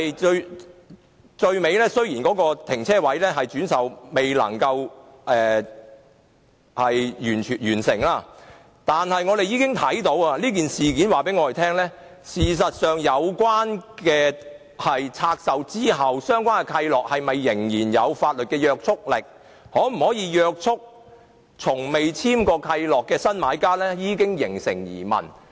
到最後，雖然有關車位未能完成轉售，但我們已從事件中看出，其實相關契諾在拆售後是否仍有法律約束力，以及可否約束從未簽訂契諾的新買家，已形成疑問。